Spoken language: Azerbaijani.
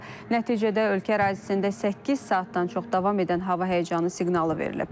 Nəticədə ölkə ərazisində səkkiz saatdan çox davam edən hava həyəcanı siqnalı verilib.